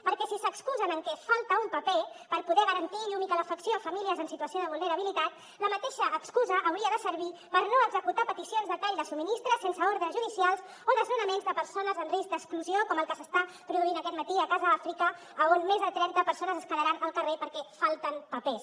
perquè si s’excusen amb que falta un paper per poder garantir llum i calefacció a famílies en situació de vulnerabilitat la mateixa excusa hauria de servir per no executar peticions de tall de subministrament sense ordres judicials o desnonaments de persones en risc d’exclusió com el que s’està produint aquest matí a casa àfrica on més de trenta persones es quedaran al carrer perquè falten papers